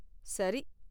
சரி.